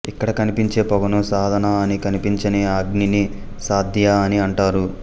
ఇక్కడ కనిపించే పొగను సాధన అని కనిపించని అగ్నిని సాధ్య అని అంటారు